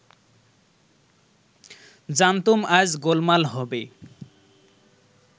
জানতুম আজ গোলমাল হবে